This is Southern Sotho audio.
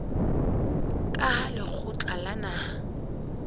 ka hara lekgotla la naha